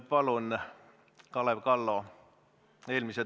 Palun, Kalev Kallo!